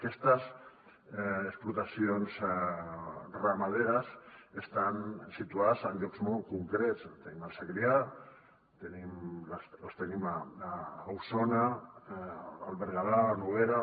aquestes explotacions ramaderes estan situades en llocs molt concrets en tenim al segrià en tenim a osona al berguedà a la noguera